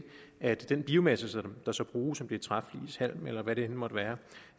er at den biomasse der så bruges om det er træflis halm eller hvad det end måtte være